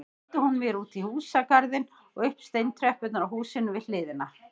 Fylgdi hún mér útí húsagarðinn og upp steintröppurnar á húsinu við hliðina.